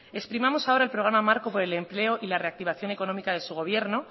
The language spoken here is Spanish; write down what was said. exprimamos ahora el programa marco por el empleo y la reactivación económica de su gobierno